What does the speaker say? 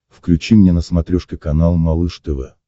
включи мне на смотрешке канал малыш тв